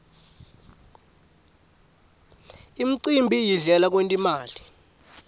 umcimbi yindlela yekwent imali